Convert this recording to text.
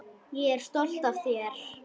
Ég er stolt af þér.